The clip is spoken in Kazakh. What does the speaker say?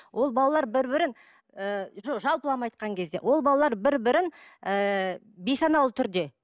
ол балалар бір бірін ыыы жоқ жалпылама айтқан кезде ол балалар бір бірін ыыы бейсаналы түрде